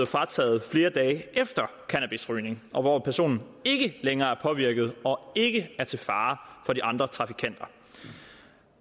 frataget flere dage efter cannabisrygning og hvor personen ikke længere er påvirket og ikke er til fare for de andre trafikanter